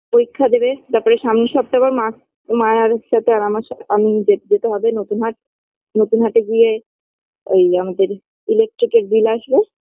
পরীক্ষা দেবে তারপরে সামনের সপ্তাহে আবার মা মায়েরসাথে আর আমার সাথে আমি যে যেতে হবে নতুন হাট নতুন হাটে গিয়ে ঐ আমাদের electric -এর bill আসবে